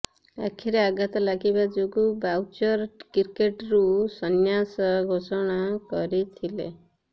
ଆଖିରେ ଆଘାତ ଲାଗିବା ଯୋଗୁ ବାଉଚର କ୍ରିକେଟରୁ ସନ୍ନ୍ୟାସ ଘୋଷଣା କରିଥିଲେ